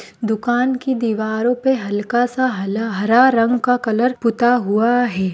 दुकान की दिवारों पे हल्का सा हला- हरा रंग का कलर पुता हुआ है।